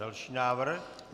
Další návrh.